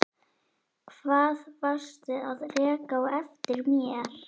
Hvað varstu að reka á eftir mér?